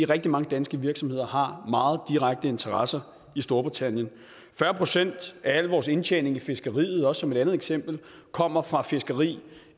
rigtig mange danske virksomheder har meget direkte interesser i storbritannien fyrre procent af al vores indtjening i fiskeriet bare som et andet eksempel kommer fra fiskeri